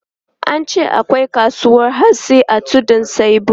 An ce akwai kasuwan hatsi a Tudun Saibu.